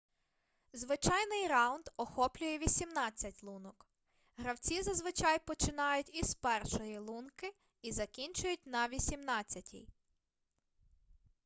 звичайний раунд охоплює вісімнадцять лунок гравці зазвичай починають із першої лунки й закінчують на вісімнадцятій